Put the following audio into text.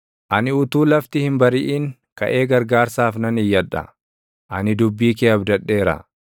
Ani utuu lafti hin bariʼin kaʼee gargaarsaaf nan iyyadha; ani dubbii kee abdadheera.